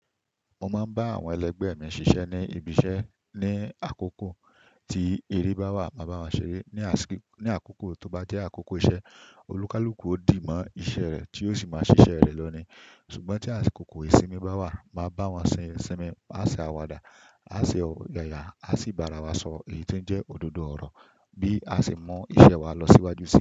Mo máa ń bá àwọn ẹlẹgbẹ́ mi ṣiṣẹ́ ní ibi iṣẹ́ ní àkókò tí eré bá wà máa bá won ṣeré. Ni àkókò tó bá jẹ́ àkókò iṣẹ́, olúkúlùkù ó dì mọ́ iṣẹ́ rẹ̀ tí ó sì máa ṣiṣẹ́ rẹ̀ lọ ní. Ṣùgbọ́n tí àkókò ìsinmi bá wà, máa bá wọn sin ìsinmi, a ṣe àwàdà, a ṣe ọ̀yàyà, a sì bara wa sọ èyí tó ń jẹ́ òdodo ọ̀rọ̀ bí a ṣe mọ iṣẹ́ wa lọ síwájú sí i.